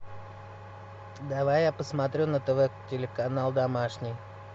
давай я посмотрю на тв телеканал домашний